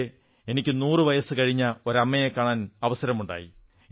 അവിടെ എനിക്ക് 100 വർഷത്തിലധികം പ്രായമുള്ള ഒരു അമ്മയെ കാണാൻ അവസരമുണ്ടായി